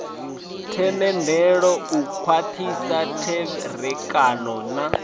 themendelo u khwathisa tserekano na